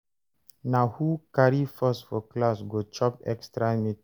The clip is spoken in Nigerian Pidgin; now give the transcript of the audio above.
Na who carry first for class go chop extra meat.